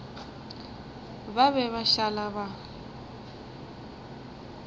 ba be ba šala ba